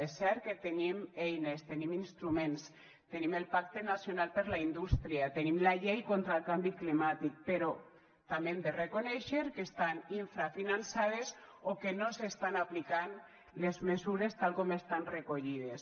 és cert que tenim eines tenim instruments tenim el pacte nacional per a la indústria tenim la llei contra el canvi climàtic però també hem de reconèixer que estan infrafinançades o que no s’estan aplicant les mesures tal com estan recollides